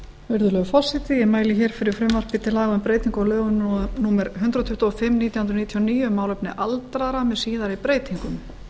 virðulegur forseti ég mæli hér fyrir frumvarpi til laga um breytingu á lögum númer hundrað tuttugu og fimm nítján hundruð níutíu og níu um málefni aldraðra með síðari breytingum